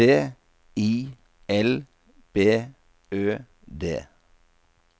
T I L B Ø D